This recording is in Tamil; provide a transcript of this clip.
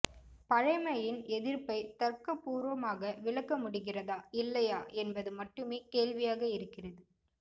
பழைமையின் எதிர்ப்பை தர்க்கபூர்வமாக விளக்கமுடிகிறதா இல்லையா என்பது மட்டுமே கேள்வியாக இருக்கிறது